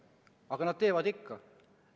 Aga nad teevad ikka.